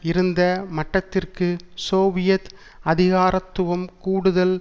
இருந்த மட்டத்திற்கு சோவியத் அதிகாரத்துவம் கூடுதல்